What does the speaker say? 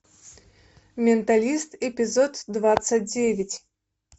менталист эпизод двадцать девять